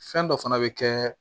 Fɛn dɔ fana bɛ kɛ